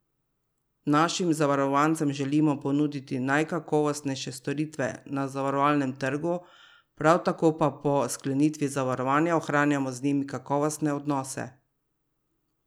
Našim zavarovancem želimo ponuditi najkakovostnejše storitve na zavarovalnem trgu, prav tako pa po sklenitvi zavarovanja ohranjamo z njimi kakovostne odnose.